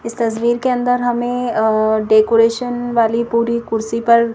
इस तस्वीर के अंदर हमें अअ डेकोरेशन वाली पूरी कुर्सी पर--